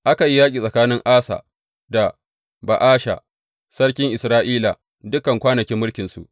Aka yi yaƙi tsakanin Asa da Ba’asha sarkin Isra’ila dukan kwanakin mulkinsu.